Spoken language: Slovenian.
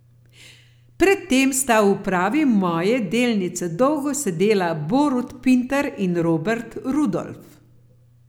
Pred tem sta v upravi Moje delnice dolgo sedela Borut Pintar in Robert Rudolf.